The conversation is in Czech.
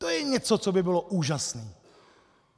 To je něco, co by bylo úžasné.